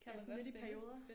Ja sådan lidt i perioder